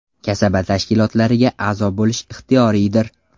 Kasaba tashkilotlariga a’zo bo‘lish ixtiyoriydir’.